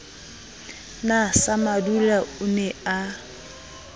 na samadula o ne a